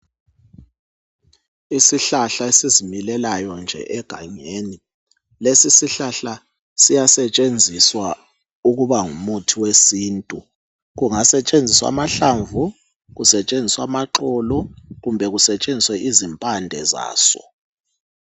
Isihlahla esizimilelayo nje egangeni. Lesisihlahla siyasetshenziswa ukuba ngumuthi wesintu . Kungasetshenziswa amahlamvu, kusetshenziswe amaxolo kumbe kusetshenziswe izimpande zaso.